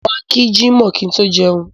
Mo máa kí jímọ̀ kí n tó jẹun.